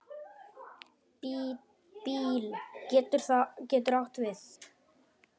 BÍL getur átt við